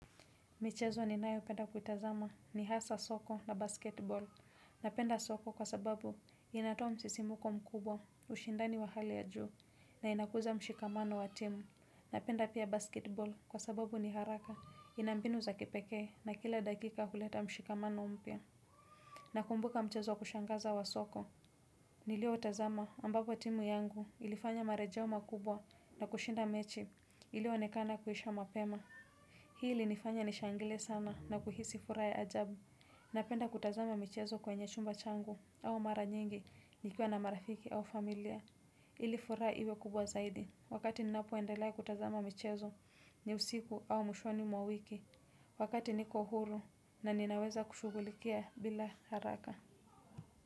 Michezo ninayopenda kutazama ni hasa soko na basketbol. Napenda soko kwa sababu inatoa msisimuko mkubwa ushindani wa hali ya juu na inakuza mshikamano wa timu. Napenda pia basketbol kwa sababu ni haraka ina mbinu za kipekee na kila dakika huleta mshikamano umpia. Nakumbuka mchezo wa kushangaza wa soka. Niliotazama ambapo timu yangu ilifanya marejeo makubwa na kushinda mechi iliyoonekana kuisha mapema. Hii ilinifanya nishangile sana na kuhisi furaha ya ajabu. Napenda kutazama michezo kwenye chumba changu au mara nyingi nikiwa na marafiki au familia. Ili furaha iwe kubwa zaidi wakati ninapo endela kutazama michezo ni usiku au mshoni mwawiki wakati niko huru na ninaweza kushugulikia bila haraka.